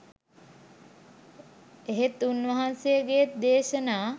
එහෙත් උන්වහන්සේගේත් දේශනා